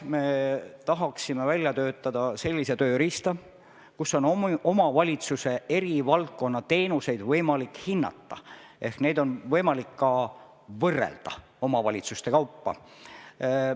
Me tahaksime välja töötada sellise tööriista, millega on võimalik omavalitsuse eri valdkonna teenuseid hinnata ja ka võrrelda omavalitsuste kaupa.